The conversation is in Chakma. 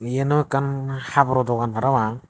iyan u ekkan haboror dogan parapang.